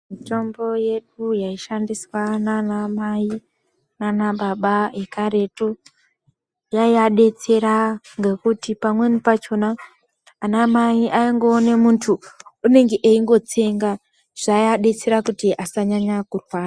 Mitombo yedu yaishandiswa nana mai nana baba ekaretu yaiya detsera ngekuti pamweni pachona ana mai vaingoone muntu achingotsenga zvaiabetsera kuti asanyaya kurwara.